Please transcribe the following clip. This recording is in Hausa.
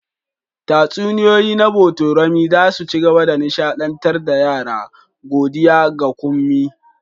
Tatsuniyoyi na botorami za su ci gaba da nishaɗantar da yara, godiya ga Kunmi.